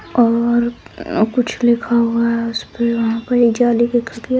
और कुछ लिखा हुआ है उसपे वहाँ पर एक जाली की खिड़की है।